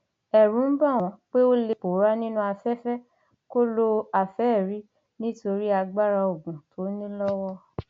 ẹrù ń bà wọn pé ó lè pòórá nínú afẹfẹ kó lo àfẹẹrí nítorí agbára oògùn tó ní lọwọ